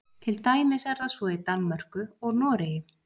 til dæmis er það svo í danmörku og noregi